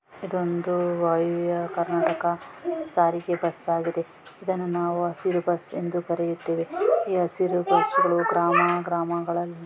ಒಂದು ವಾಯುವ್ಯ ಕರ್ನಾಟಕ ಸಾರಿಗೆ ಬಸ್‌ ಆಗಿದೆ. ಇದನ್ನು ನಾವು ಹಸಿರು ಬಸ್ಸು ಎಂದು ಕರೆಯುತ್ತೇವೆ ಈ ಹಸಿರು ಬಸ್ಸು ಗ್ರಾಮ ಗ್ರಾಮಗಳಲ್ಲಿ--